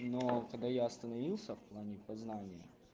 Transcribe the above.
но тогда я остановился в плане познания